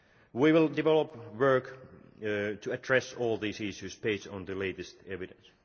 We will develop work to address all these issues based on the latest evidence.